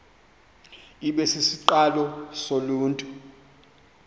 ibe sisiqalo soluntu